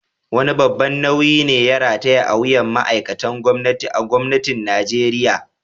Wane babban nauyi ne da ya rataya a wuyan ma’aikatan gwamnati a Gwamnatin Najeriya?